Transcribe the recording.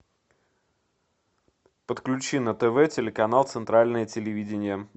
подключи на тв телеканал центральное телевидение